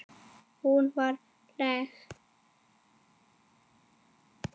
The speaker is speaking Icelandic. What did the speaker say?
Hún var falleg.